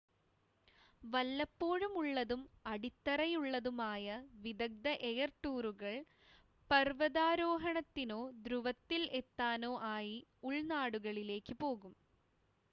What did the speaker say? വല്ലപ്പോഴുമുള്ളതും അടിത്തറയുള്ളതും ആയ വിദഗ്ദ്ധ എയർ ടൂറുകൾ പർവ്വതാരോഹണത്തിനോ ധ്രുവത്തിൽ എത്താനോ ആയി ഉൾനാടുകളിലേക്ക് പോകും